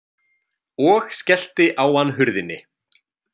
Og skellti á hann hurðinni.